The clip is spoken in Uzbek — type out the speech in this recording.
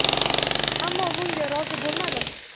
Ammo bunga rozi bo‘lmadim.